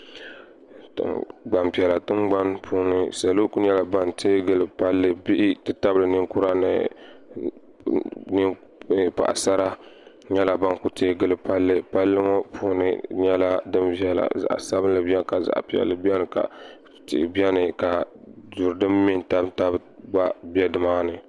Gbampiɛla tingbanni salo kuli nyɛla ban teeli palli bihi titabili ninkura ni Paɣasara nyɛla ban kuli teegili palli palli ŋɔ puuni nyɛla fin viɛla zaɣa sabinli biɛni ka zaɣa piɛla biɛni ka tihi biɛni ka duri din mɛntam taba gba be nimaani.